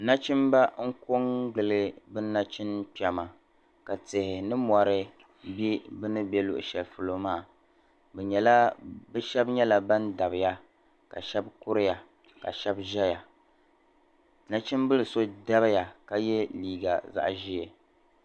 Nachimba n-kɔŋgili bɛ nachimkpɛma ka tihi ni mɔri be bɛ ni be luɣishɛli polo maa. Bɛ shɛba nyɛla ban dabiya ka shɛba kuriya ka shɛba zaya. Nachimbila so dabiya ka ye liiga zaɣ' ʒee.